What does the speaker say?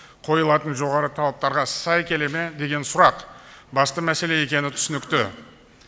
қойылатын жоғары талаптарға сай келе ме деген сұрақ басты мәселе екені түсінікті